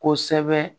Kosɛbɛ